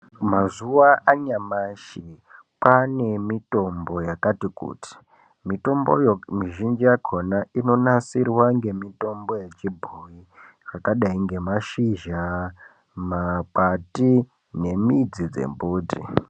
Mazuwa anyamashi kwaane mitombo yakati kuti. Mitombo mizhinji yakhona inonasirwa nemitombo yechibhoyi. Zvakadai ngemashizha, makwati nemidzi dzembiti.